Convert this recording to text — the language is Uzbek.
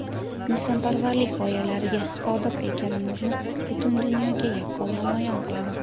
insonparvarlik g‘oyalariga sodiq ekanimizni butun dunyoga yaqqol namoyon qilamiz.